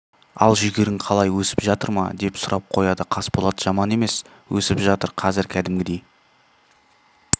ал жүгерің қалай өсіп жатыр ма деп сұрап қояды қасболат жаман емес өсіп жатыр қазір кәдімгідей